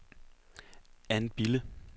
Ann Bille